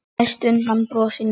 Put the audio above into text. Mest undan brosinu þínu.